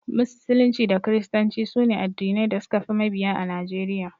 Musulunci da kiristanci sune addinai da suka fi mabiya a Najeriya.